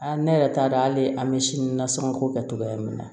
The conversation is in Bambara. Aa ne yɛrɛ t'a dɔn hali an bɛ sini nasɔngɔ ko kɛ togoya min na